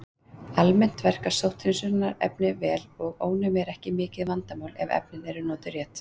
Almennt verka sótthreinsunarefni vel og ónæmi er ekki mikið vandamál ef efnin eru notuð rétt.